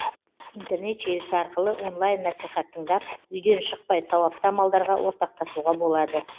интернет желісі арқылы онлайн насихат тыңдап үйден шықпай сауапты амалдарға ортақтасуға болады